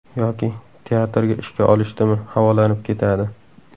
Yoki teatrga ishga olishdimi, havolanib ketadi.